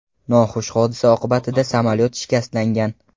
Noxush hodisa oqibatida samolyot shikastlangan.